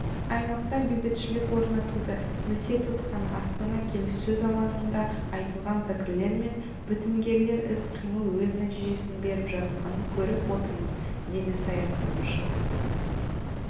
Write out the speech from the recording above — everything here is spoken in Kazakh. аймақта бейбітшілік орнатуды місе тұтқан астана келіссөз алаңында айтылған пікірлер мен бітімгерлік іс-қимыл өз нәтижесін беріп жатқанын көріп отырмыз дейді саясаттанушы